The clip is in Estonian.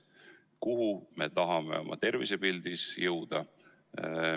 Kuhu me tahame oma tervisepildis jõuda?